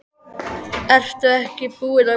Ertu ekki búin að bjóða honum þetta?